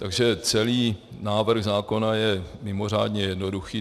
Takže celý návrh zákona je mimořádně jednoduchý.